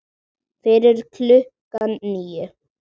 Fyrir klukkan níu.